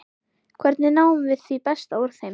Hvernig náum við því besta úr þeim?